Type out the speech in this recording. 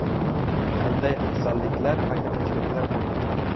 Qanday afzalliklar va kamchiliklar bo‘lgan?